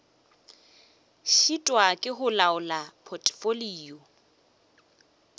šitwa ke go laola potfolio